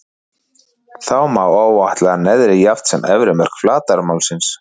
Þá má áætla neðri jafnt sem efri mörk flatarmálsins.